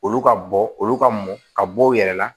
Olu ka bɔ olu ka mɔn ka bɔ u yɛrɛ la